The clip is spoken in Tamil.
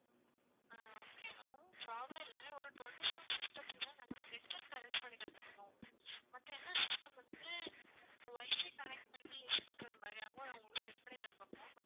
ஆஹ் okay ma'am problem இல்ல ஒரு twenty seven system த்துக்கு தான் நாங்க வந்து network arrange பண்ணி தந்துருந்தோம் மத்த எல்லாம் system வந்து WIFI connect பண்ணி use பண்றது மாதிரி தான் ma'am உங்களுக்கு set பண்ணி தந்துருக்கோம்.